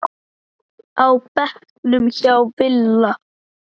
á bekknum hjá Villa.